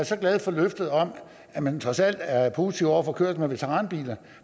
så glad for løftet om at man trods alt er positiv over for kørsel med veteranbiler